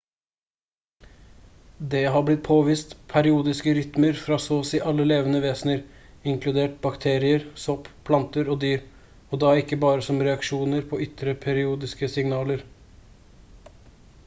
det har blitt påvist periodiske rytmer fra så og si alle levende vesener inkludert bakterier sopp planter og dyr og da ikke bare som reaksjoner på ytre periodiske signaler